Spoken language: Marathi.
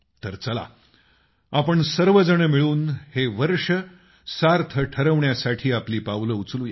तर चला आपण सर्वजण मिळून हे वर्ष सार्थ ठरवण्यासाठी आपली पावलं उचलू या